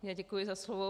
Já děkuji za slovo.